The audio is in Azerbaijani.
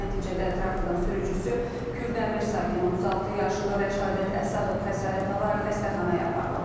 Nəticədə traktorun sürücüsü Kürdəmir sakini 36 yaşlı Rəşadət Əsədov xəsarət alaraq xəstəxanaya aparılıb.